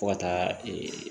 Fo ka taa